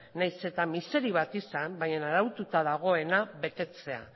nahiz eta miseri bat izan bainan araututa dagoena betetzea